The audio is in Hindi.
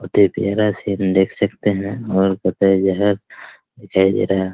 बहुत ही प्यार सिन देख सकते हैं और कत्ते जगह दिखाई दे रहा है।